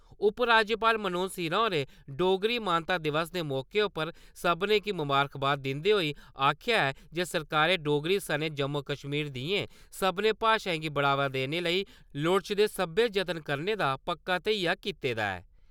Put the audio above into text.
उपराज्यपाल मनोज सिन्हा होरें डोगरी मानता दिवस दे मौके पर सब्भनें गी मबारखबाद दिंदे होई आक्खेआ ऐ जे सरकारै डोगरी सने जम्मू-कश्मीर दियें सब्भनें भाशाएं गी बढ़ावा देने लेई लोड़चदे सब्बै जतन करने दा पक्का धेइया कीते दा ऐ।